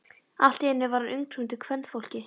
Allt í einu var hann umkringdur kvenfólki.